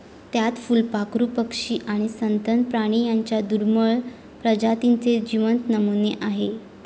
त्यात फुलपाखरू, पक्षी आणि सस्तन प्राणी यांच्या दुर्मिळ प्रजातींचे जिवंत नमुने आहेत.